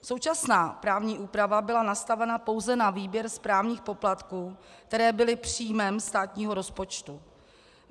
Současná právní úprava byla nastavena pouze na výběr správních poplatků, které byly příjmem státního rozpočtu.